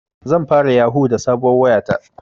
Zan fara yahu da sabuwar waya ta